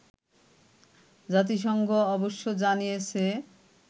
জাতিসংঘ অবশ্য জানিয়েছে